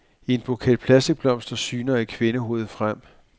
I en buket plastikblomster syner et kvindehoved frem.